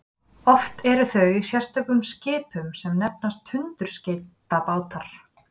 oft eru þau í sérstökum skipum sem nefnast tundurskeytabátar